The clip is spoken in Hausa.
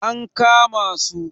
an kama su!